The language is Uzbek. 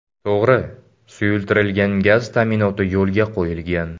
To‘g‘ri, suyultirilgan gaz ta’minoti yo‘lga qo‘yilgan.